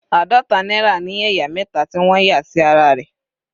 Àádọta náírà ní ẹ̀yà mẹta tí wọ́n yà sí ara rẹ̀.